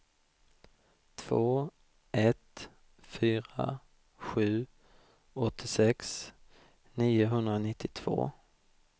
två ett fyra sju åttiosex niohundranittiotvå